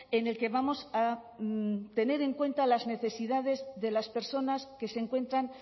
en el que vamos a tener en cuenta las necesidades de las personas que se encuentran